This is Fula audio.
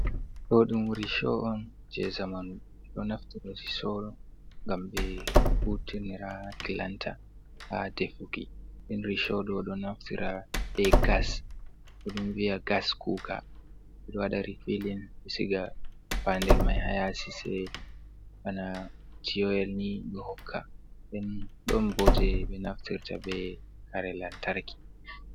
Ɗo ɗum risho'on je zamanu, ɗo naftira risho'on ngam ɓe hutirnira ha kilanta ha defuki, irin risho ɗo ɗon naftira be gas.ɓe ɗon viya ɗum gas kuka, ɓe waɗa rifilin siga pangel mai ha yasi.se bana tiyo yelni ɗo hokka seni ɗonbo je ɓe naftirta be kare Lantarki.